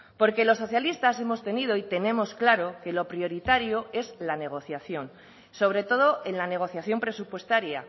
porque los socialistas hemos tenido y tenemos claro que lo prioritario es la negociación sobre todo en la negociación presupuestaria